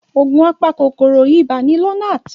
Òògùn apa kòkòrò ibà ni Lonart.